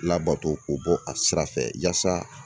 Labato k'o bɔ a sira fɛ yasa.